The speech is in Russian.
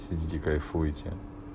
сидите кайфуйте